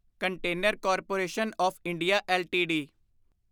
container corporation of India LTD